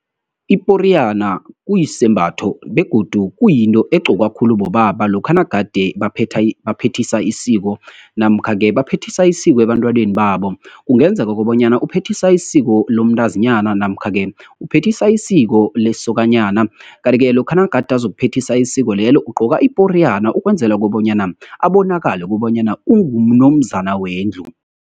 Iporiyana kuyisembatho, begodu kuyinto egqokwa khulu bobaba, lokha nagade baphethisa isiko, namkha-ke baphethisa isiko ebantwaneni babo. Kungenzeka kobanyana uphethisa isiko lomntazinyana, namkha-ke uphethisa isiko lesokanyana. Kanti-ke, lokha nagade uzokuphethisa isiko lelo ugqoka iporiyana, ukwenzela kobanyana abonakale, kobanyana ungunomzana wendlu.